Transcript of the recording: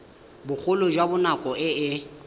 bogolo jwa nako e e